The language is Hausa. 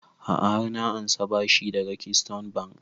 A'a har na ansa bashi daga keystone bank